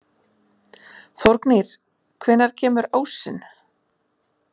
Þórgnýr, hvenær kemur ásinn?